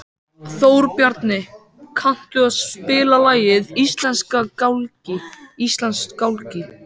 Þórbjarni, kanntu að spila lagið „Íslandsgálgi“?